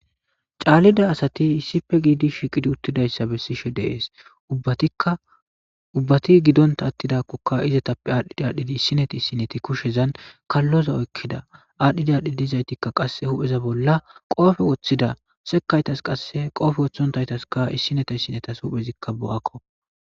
caallida asati issife giidi shiiqidi uttidayssa bessishe deees ubatikka ubbati gidonta attidakkoka izetappe aadhdhidi aadhidi issineta issineti kushezan kalloza oykkida aadhdhidi aadhdhii dizaytikka qasse hupheza bolla qoofe woththida sekaytas qasse qoofe woththontaytaskka issineta issinetas huphezikka bo7akko